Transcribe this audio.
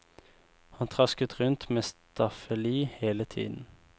Han trasket rundt med staffeli hele tiden.